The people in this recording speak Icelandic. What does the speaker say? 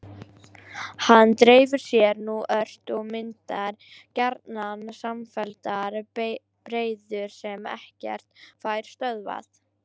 Hann dreifir sér nú ört og myndar gjarnan samfelldar breiður sem ekkert fær stöðvað.